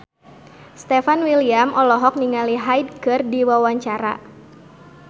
Stefan William olohok ningali Hyde keur diwawancara